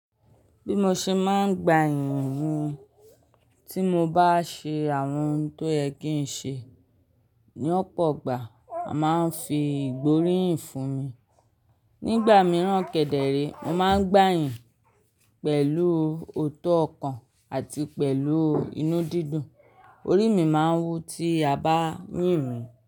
Bí mo ṣe máa ń gba iyìn ni, tí mo bá ṣe àwọn ohun tó yẹ kí n ṣe, ní ọ̀pọ̀ ìgbà a máa ń fi ìgbóríyìn fún mi. Nígbà mìíràn kẹ̀dẹ̀ẹ̀rẹ̀, mo máa ń gbà yìnyín pẹ̀lú ootọ̀ ọkàn àti pẹ̀lú inú dídùn. Orí mi máa ń wú tí a bá yín mi.